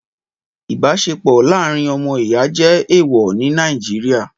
Ìbáṣepọ̀ láàrín ọmọ ìyá jẹ́ ẹ̀ẹ̀wọ̀ ní Nàìjíríà